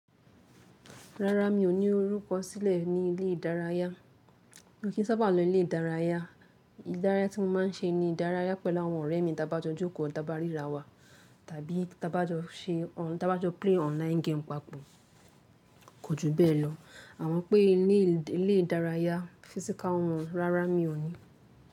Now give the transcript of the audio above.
Rárá, mi ò ní orúkọ sílẹ̀ ní ilé ìdárayá. Mo kì n sábà lọ ilé ìdárayá. Ìdárayá tí mo má n ṣe ni ìdárayá pẹ̀lú àwọn ọ̀rẹ́ mi tí a bá jọ jókòó tàbí a bá ríra wa, tàbí tí a bá jọ ṣe o, tí a bá jọ play online game papọ̀. Kò ju bẹ́ẹ̀ lọ. Àmo pé ilé ìdárayá physical one, rárá mi ò ní.